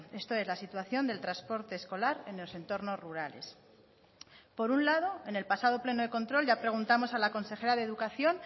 esto es la situación del transporte escolar en los entornos rurales por un lado en el pasado pleno de control ya preguntamos a la consejera de educación